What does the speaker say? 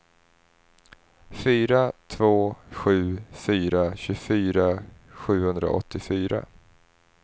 fyra två sju fyra tjugofyra sjuhundraåttiofyra